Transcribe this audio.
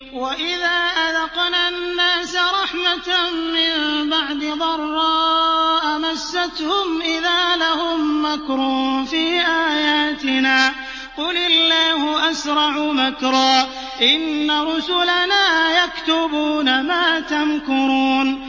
وَإِذَا أَذَقْنَا النَّاسَ رَحْمَةً مِّن بَعْدِ ضَرَّاءَ مَسَّتْهُمْ إِذَا لَهُم مَّكْرٌ فِي آيَاتِنَا ۚ قُلِ اللَّهُ أَسْرَعُ مَكْرًا ۚ إِنَّ رُسُلَنَا يَكْتُبُونَ مَا تَمْكُرُونَ